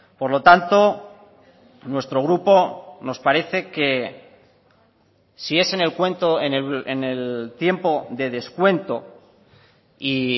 por lo tanto nuestro grupo nos parece que si es en el cuento en el tiempo de descuento y